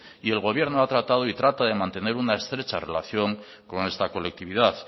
y el gobierno ha tratado y trata de mantener una estrecha relación con esta colectividad